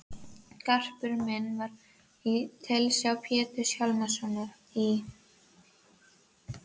Garpur minn var í tilsjá Péturs Hjálmssonar í